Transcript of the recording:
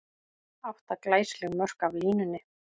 Átta glæsileg mörk af línunni!